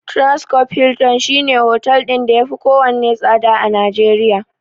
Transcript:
Transcorp Hilton shine hotel ɗin da yafi kowanne tsada a Najeriya.